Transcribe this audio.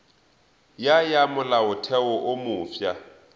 ya ya molaotheo wo mofsa